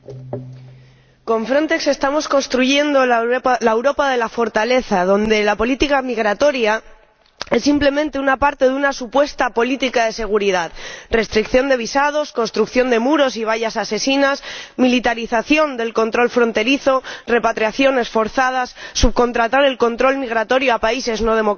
Señora Presidenta, con Frontex estamos construyendo la Europa de la fortaleza, donde la política migratoria es simplemente una parte de una supuesta política de seguridad restricción de visados, construcción de muros y vallas asesinas, militarización del control fronterizo, repatriaciones forzadas, subcontratación del control migratorio a países no democráticos.